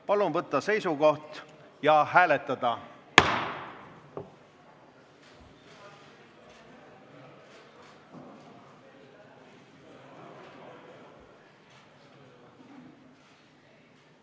Palun võtta seisukoht ja hääletada!